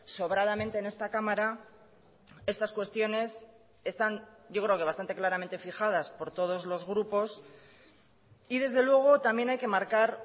sobradamente en esta cámara estas cuestiones están yo creo que bastante claramente fijadas por todos los grupos y desde luego también hay que marcar